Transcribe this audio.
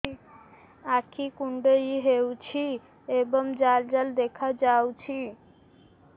ଆଖି କୁଣ୍ଡେଇ ହେଉଛି ଏବଂ ଜାଲ ଜାଲ ଦେଖାଯାଉଛି